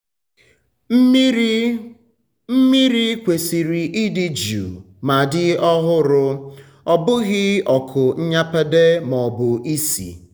mmiri kwesịrị ịdị jụụ ma dị ọhụrụ-ọ bụghị ọkụ nnyapade maọbụ isi.